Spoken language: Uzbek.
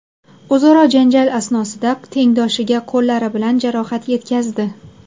o‘zaro janjal asnosida tengdoshiga qo‘llari bilan jarohat yetkazdi.